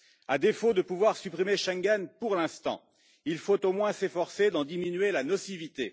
À défaut de pouvoir supprimer Schengen, pour l'instant, il faut au moins s'efforcer d'en diminuer la nocivité.